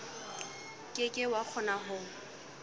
ke ke wa kgona ho